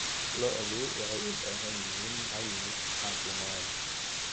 Lo'du waxay u baahan yihiin caymis caafimaad.